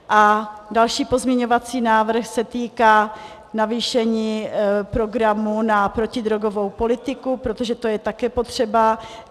A další pozměňovací návrh se týká navýšení programu na protidrogovou politiku, protože to je také potřeba.